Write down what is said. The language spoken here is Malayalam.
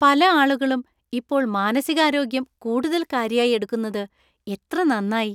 പല ആളുകളും ഇപ്പോൾ മാനസികാരോഗ്യം കൂടുതൽ കാര്യായി എടുക്കുന്നത് എത്ര നന്നായി!